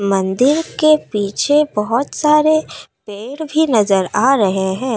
मंदिर के पीछे बहुत सारे पेड़ भी नजर आ रहे हैं।